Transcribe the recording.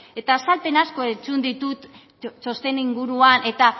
eta azalpen asko entzun ditut txosten inguruan eta